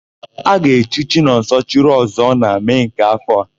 A ga-echi Chinọnso, Ọchịrịọzụọ na Mee nke áfọ̀ a.